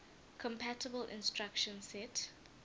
compatible instruction set